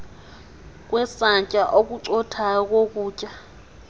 kwesantya okucothayo kokutya